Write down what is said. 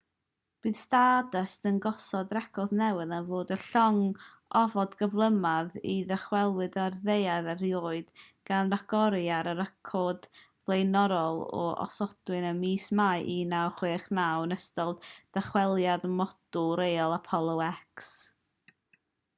bydd stardust yn gosod record newydd am fod y llong ofod gyflymaf i ddychwelyd i'r ddaear erioed gan ragori ar y record flaenorol a osodwyd ym mis mai 1969 yn ystod dychweliad modiwl rheoli apollo x